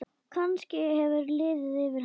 Kannski hefur liðið yfir hana?